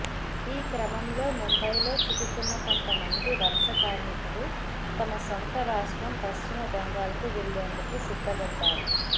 ఈ క్రమంలో ముంబైలో చిక్కుకున్న కొంతమంది వలస కార్మికులు తమ సొంత రాష్ట్రం పశ్చిమ బెంగాల్కు వెళ్లేందుకు సిద్ధపడ్డారు